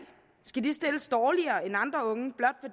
skal de stilles dårligere end andre unge blot